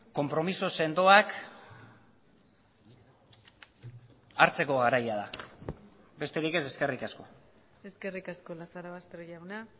konpromiso sendoak hartzeko garaia da besterik ez eskerrik asko eskerrik asko lazarobaster jauna